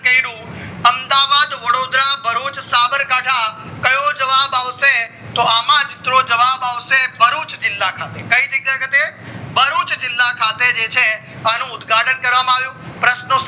કય્રુ અમદાવાદ, વડોદર, ભરૂચ, સાબરકાઠા, કયો જવાબ આવશે તોં આમજ મિત્રો જવાબ આવશે ભરૂચ જીલ્લા ખાતે કઈ જગ્યા ખાતે ભરૂચ જીલ્લા ખાતે જે છે આનુ ઉદ્ઘાટન કરવામાં આવ્યું પ્રશ્નો